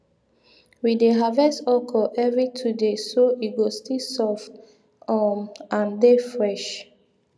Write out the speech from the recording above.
we dey harvest okro every two days so e go still soft um and dey fresh